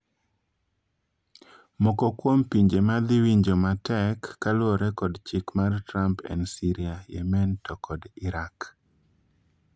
Moko kuom pinje madhi winjo matrek kaluore kod chik mar Trump en Syria, Yemen to kod Iraq.